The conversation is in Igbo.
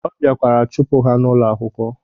Ọ biakwara chụpụ ha n'ụlọ akwụkwọ.